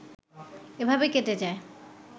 এভাবে কেটে যায়